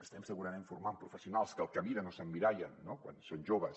estem segurament formant professionals que el que miren o en el que s’emmirallen quan són joves